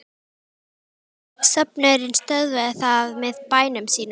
Söfnuðurinn stöðvað það með bænum sínum.